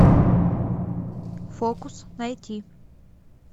фокус найти